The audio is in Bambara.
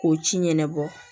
K'o ci ɲɛnabɔ